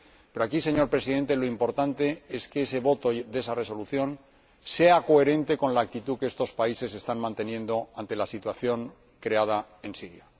Pero aquí, señor Presidente, lo importante es que el voto de esa Resolución sea coherente con la actitud que estos países están manteniendo ante la situación creada en Siria.